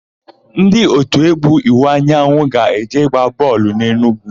Ndị òtù égwú Iwuanyanwụ ga-eje ịgba bọọlụ n'Enugwu.